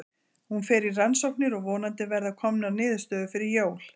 Hún fer í rannsóknir og vonandi verða komanr niðurstöður fyrir jól.